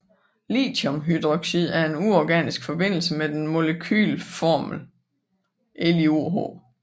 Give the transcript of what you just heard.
Lithiumhydroxid er en uorganisk forbindelse med den molekylformelen LiOH